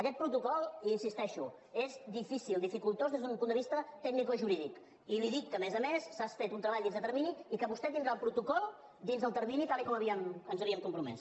aquest protocol hi insisteixo és difícil dificultós des d’un punt de vista tecnicojurídic i li dic que a més a més s’ha fet un treball dins de termini i que vostè tindrà el protocol dins del termini tal com ens havíem compromès